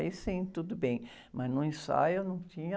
Aí sim, tudo bem, mas no ensaio não tinha...